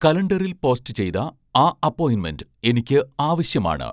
കലണ്ടറിൽ പോസ്റ്റ് ചെയ്ത ആ അപ്പോയിൻമെന്റ് എനിക്ക് ആവശ്യമാണ്